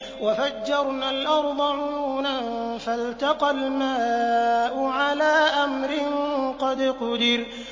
وَفَجَّرْنَا الْأَرْضَ عُيُونًا فَالْتَقَى الْمَاءُ عَلَىٰ أَمْرٍ قَدْ قُدِرَ